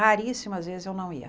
Raríssimas vezes eu não ia.